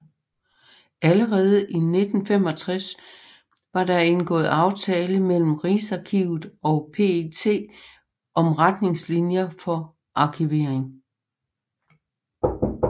Allerede i 1965 var der indgået aftale mellem Rigsarkivet og PET om retningslinjer for arkivering